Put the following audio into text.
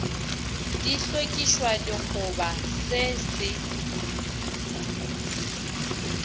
di hlokišwa dikgoba se se